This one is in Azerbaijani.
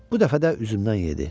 Bu dəfə də üzümdən yedi.